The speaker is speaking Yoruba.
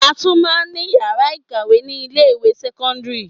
A tún máa ní ìyàrá ìkàwé ni ilé ìwé sẹ́kọ́ńdírì.